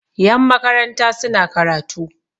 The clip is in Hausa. yanmakaranta suna karatu